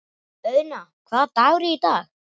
Auðna, hvaða dagur er í dag?